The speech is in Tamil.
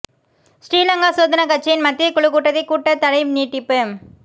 ஸ்ரீலங்கா சுதந்திரக் கட்சியின் மத்தியக் குழுக் கூட்டத்தைக் கூட்ட தடை நீட்டிப்பு